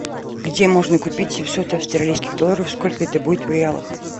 где можно купить семьсот австралийских долларов сколько это будет в реалах